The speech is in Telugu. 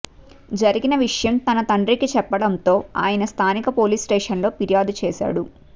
జరిగిన విషయం తన తండ్రికి చెప్పడంతో ఆయన స్థానిక పోలీస్ స్టేషన్లో ఫిర్యాదు చేశాడు